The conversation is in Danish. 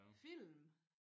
Film